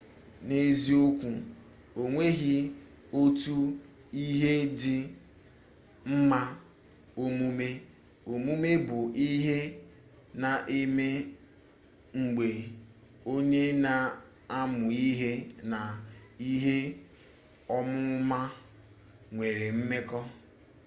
n'eziokwu onweghi otu ihe dị mma ọmụmụ ọmụmụ bụ ihe na-eme mgbe onye na-amụ ihe na ihe ọmụma nwere mmekọ